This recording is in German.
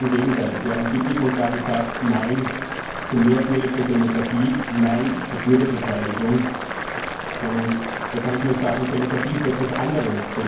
Ganz im Gegenteil. Sie haben klipp und klar gesagt Nein zu mehr direkter Demokratie, nein zu Bürgerbeteiligung. Da kann ich nur sagen Demokratie ist etwas anderes.